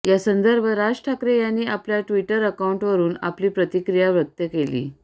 या संदर्भात राज ठाकरे यांनी आपल्या ट्विटर अकाउंटवरून आपली प्रतिक्रिया व्यक्त केली